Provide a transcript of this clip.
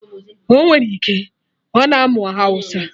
Ọnwere ike, ọ na amụ hawụsa